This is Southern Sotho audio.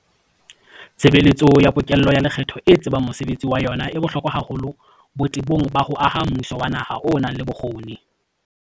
Tshebeletso ya pokello ya lekgetho e tsebang mosebetsi wa yona e bohlokwa haholo botebong ba ho aha mmuso wa naha o nang le bokgoni.